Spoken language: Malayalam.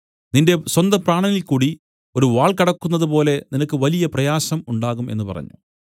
നിന്റെ സ്വന്തപ്രാണനിൽക്കൂടി ഒരു വാൾ കടക്കുന്നത് പോലെ നിനക്ക് വലിയ പ്രയാസം ഉണ്ടാകും എന്നു പറഞ്ഞു